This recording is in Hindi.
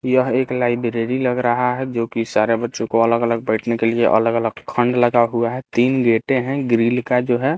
यह एक लायब्ररी लग रहा है जो की सारे बच्चों को अलग अलग बैठने के लिए अलग अलग खंड लगा हुआ है तीन गेटे है ग्रील का जो है--